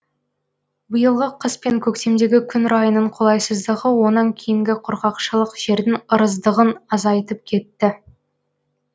биылғы қыс пен көктемдегі күн райының қолайсыздығы онан кейінгі құрғақшылық жердің ырыздығын азайтып кетті